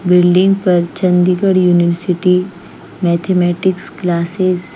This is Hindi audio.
बिल्डिंग पर चंडीगढ़ यूनिवर्सिटी मैथमेटिक्स क्लासेस --